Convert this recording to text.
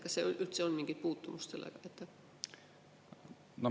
Kas sel üldse on mingit puutumust sellega?